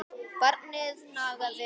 Barnið nagaði allt.